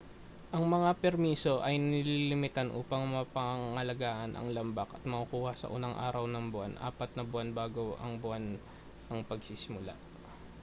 ang mga permiso ay nililimitahan upang mapangalagaan ang lambak at makukuha sa unang araw ng buwan apat na buwan bago ang buwan ng pagsisimula